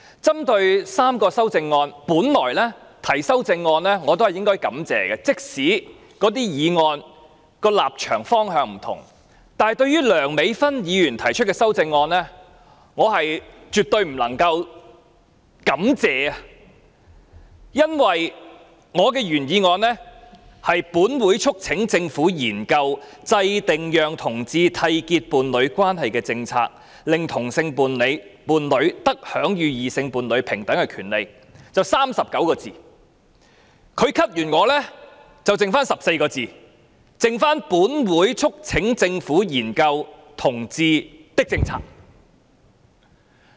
針對3項修正案，我也應該予以感謝，即使那些修正案的立場方向不同，但對於梁美芬議員提出的修正案，我絕對不能感謝，因為我的原議案是，"本會促請政府研究制訂讓同志締結伴侶關係的政策，令同性伴侶得享與異性伴侶平等的權利"，只有39個字，但她刪改我的議案後，只餘下本會促請政府研究同志的政策。